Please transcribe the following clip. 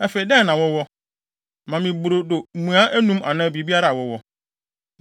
Afei, dɛn na wowɔ? Ma me brodo mua anum anaa biribiara a wowɔ.”